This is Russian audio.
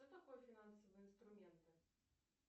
что такое финансовые инструменты